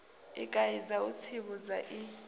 i kaidza u tsivhudza i